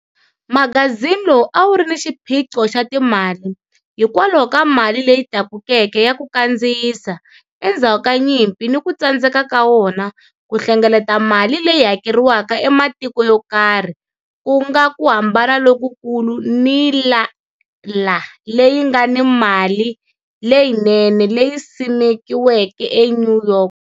Magazini lowu a wu ri ni xiphiqo xa timali hikwalaho ka mali leyi tlakukeke ya ku kandziyisa endzhaku ka nyimpi ni ku tsandzeka ka wona ku hlengeleta mali leyi hakeriwaka ematikweni yo karhi, ku nga ku hambana lokukulu ni IALA leyi nga ni mali leyinene leyi simekiweke eNew York.